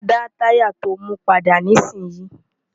dá táyà to mú padà nísìn yìí!